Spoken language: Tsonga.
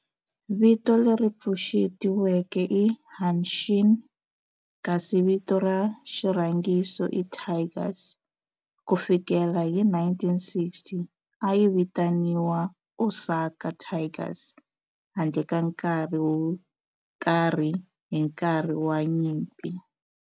Vito leri pfuxetiweke i Hanshin kasi vito ra xirhangiso i Tigers. Ku fikela hi 1960, a yi vitaniwa Osaka Tigers handle ka nkarhi wo karhi hi nkarhi wa nyimpi.